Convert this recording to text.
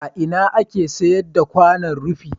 A ina ake sayar da kwanon rufi?